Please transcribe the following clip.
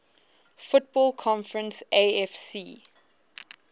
football conference afc